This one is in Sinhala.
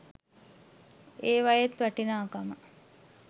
ඒවයෙත් වටිනාකම